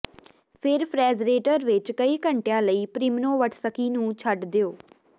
ਫਿਰ ਫਰੈਗਰੇਟਰ ਵਿੱਚ ਕਈ ਘੰਟਿਆਂ ਲਈ ਪ੍ਰੋਮਿਨੋਵਟਸਕੀ ਨੂੰ ਛੱਡ ਦਿਓ